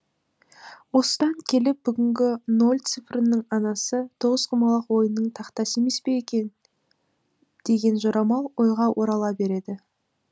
осыдан келіп бүгінгі нөл цифрының анасы тоғызқұмалақ ойынның тақтасы емес пе екен деген жорамал ойға орала береді